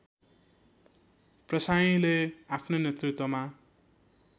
प्रसाईँले आफ्नै नेतृत्वमा